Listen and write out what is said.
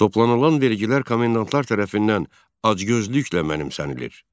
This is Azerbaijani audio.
Toplanılan vergilər komendantlar tərəfindən acgözlüklə mənimsənilir.